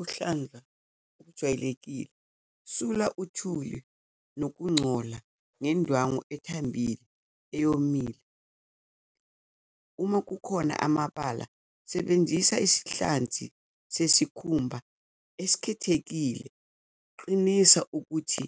Uhlanga olujwayelekile sula uthuli nokungcola ngendwangu ethambile, eyomile uma kukhona amabala sebenzisa isihlanzi sesikhumba esikhethekile, qinisa ukuthi